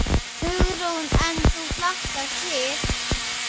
Hugrún: En þú hlakkar til?